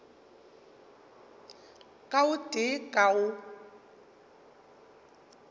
ka o tee ka o